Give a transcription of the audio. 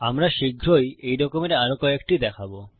আমরা শীঘ্রই এই রকমের আরো কয়েকটি দেখবো